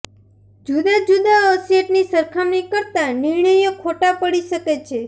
જુદા જુદા અસેટની સરખામણી કરતા નિર્ણયો ખોટા પડી શકે છે